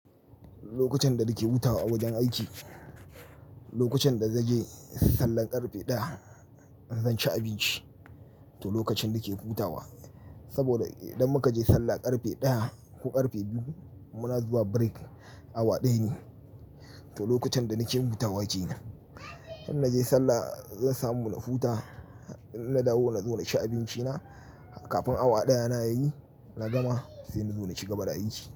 Lokacin da nake hutawa a wajen aiki, lokacin da zanje sallar ƙarfe ɗaya, zan ci abinci to lokacin nake hutawa. Saboda idan muka je sallah ƙarfe ɗaya ko ƙarfe biyu, muna zuwa break awa ɗaya ne. To lokacin da nake hutawa kenan. In naje sallah zan samu na huta, in na dawo nazo na ci abinci na kafin awa ɗaya na yayi na gama sai nazo na ci gaba da aiki.